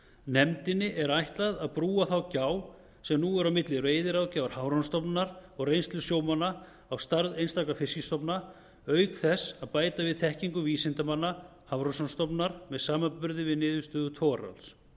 nefndinni er ætlað að brúa þá gjá sem nú er milli veiðiráðgjafar hafrannsóknastofnunarinnar og reynslu sjómanna á stærð einstakra fiskstofna auk þess að bæta við þekkingu vísindamanna hafrannsóknastofnunar með samanburði við niðurstöður togararalls